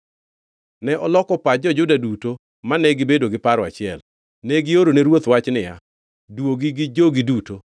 Ne oloko pach jo-Juda duto mane gibedo gi paro achiel. Ne giorone ruoth wach niya, “Duogi gi jogi duto.”